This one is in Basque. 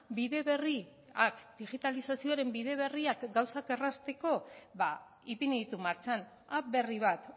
bide berriak digitalizazioaren bide berriak gauzak errazteko ba ipini ditu martxan app berri bat